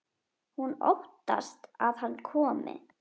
Hún óttast að hann komi.